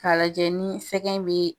Ka lajɛ ni sɛgɛn be